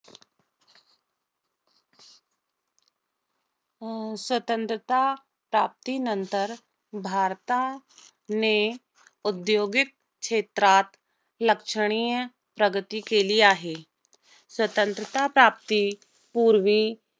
अं स्वतंत्रता प्राप्तीनंतर, भारताने, औद्योगिक क्षेत्रात, लक्षणीय प्रगती केली आहे. स्वतंत्रता प्राप्तीपूर्वी